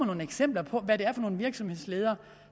nogle eksempler på hvad det er for nogle virksomhedsledere